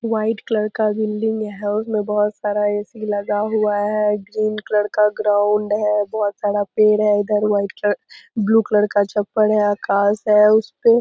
White colour का building है। उसमें बहुत सारा ए.सी. लगा हुआ है ग्रीन कलर का ग्राउंड है बहुत सारा पेड़ है। उधर व्हाइट कलर ब्लू कलर का चप्पल है आकाश है उसपे --